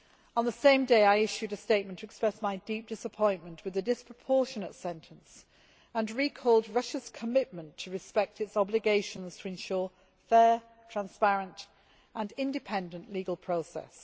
On the same day, I issued a statement to express my deep disappointment with the disproportionate sentence and recalled Russia's commitments to respect its obligations to ensure fair, transparent and independent legal process.